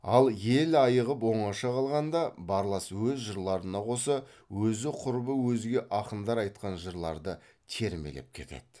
ал ел айығып оңаша қалғанда барлас өз жырларына қоса өзі құрбы өзге ақындар айтқан жырларды термелеп кетеді